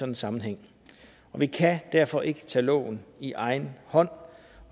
en sammenhæng vi kan derfor ikke tage loven i egen hånd